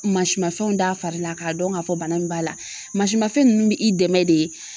Mansimafɛnw d'a farila k'a dɔn k'a fɔ bana in b'a la masimafɛn nunnu be i dɛmɛ de